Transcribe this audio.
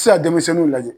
Ti se ka denmisɛnninw lajɛ